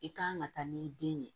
I kan ka taa n'i den ye